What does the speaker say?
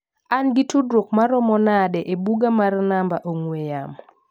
An gi tudruok maromo nade e buga mar namba ong'ue yamo.